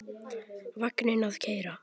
Vagninn að keyra.